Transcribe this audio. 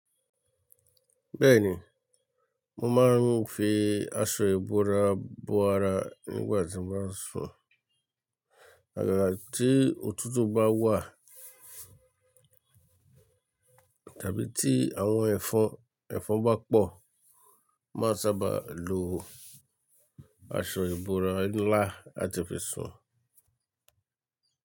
Bẹ́ẹ̀ni, mo máa ń fi aṣọ ìbora bo ara nígbà tí n bá n sùn. Agágà tí òtútù bá wà, tàbí tí àwọn ẹ̀fọn, ẹ̀fọn bá pọ̀, máa sábà lo aṣọ ìbora ńlá láti fi sùn.